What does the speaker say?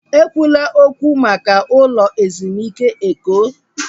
Ekwula okwu maka ụlọ ezumike Eko!